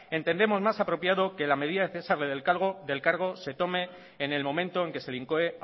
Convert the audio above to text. entendemos más apropiado que en la medida de cesarle del cargo se tome en el momento en que se le incoe